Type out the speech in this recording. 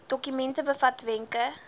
dokument bevat wenke